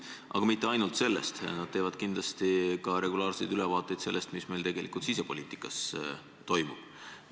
Aga mitte ainult sellest, nad teevad kindlasti ka regulaarseid ülevaateid sellest, mis meil tegelikult sisepoliitikas toimub.